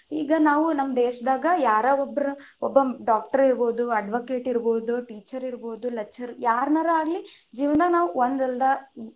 ಈಗ ನಾವು ನಮ್ಮ ದೇಶದಾಗ ಯಾರೊ ಒಬ್ಬರ ಒಬ್ಬ Doctor ಇರಬಹುದು, Advocate ಇರಬಹುದು, Teacher ಇರಬಹುದು, Lecturer ಯಾರನ್ನರ ಆಗಲಿ ಜೀವನಾ ನಾವು ಒಂದ ಅಲ್ದ.